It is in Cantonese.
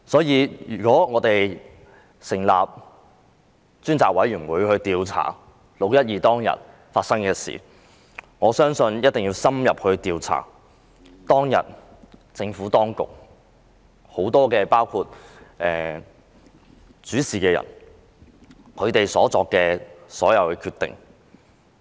如果我們委任專責委員會調查"六一二"事件，我認為一定要深入調查當天政府當局很多主事人所作的各項決定。